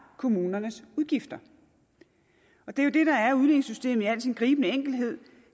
kommunernes udgifter det er jo det der er udligningssystemet i al sin gribende enkelhed